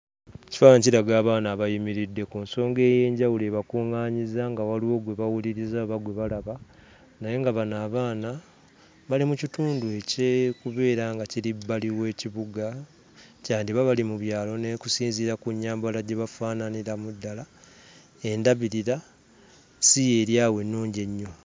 Ekifaananyi kiraga abaana abayimiridde ku nsonga ey'enjawulo ebakuŋŋaanyizza nga waliwo gwe bawuliriza oba gwe balaba naye nga bano abaana bali mu kitundu eky'okubeera nga kiri bbali w'ekibuga. kyandiba bali mu byalo n'okusinziira ku nnyambala gye bafaananiramu ddala, endabirira si y'eri awo ennungi ennyo.